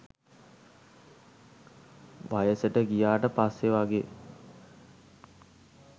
වයසට ගියාට පස්සෙ වගේ.